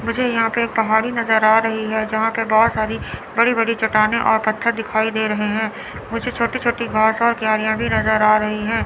मुझे यहां पे एक पहाड़ी नज़र आ रही है यहां पे बहुत सारी बड़ी-बड़ी चट्टानें और पत्थर दिखाई दे रहे हैं मुझे छोटी-छोटी घास और क्यारियां भी नज़र आ रही हैं।